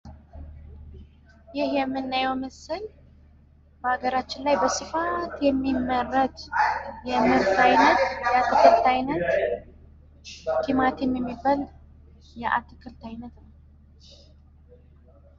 ይህ የምናየው ምስል በሀገራችን በስፋት የሚመረት የአትክልት አይነት ቲማቲም የሚባል የአትክልት ነው።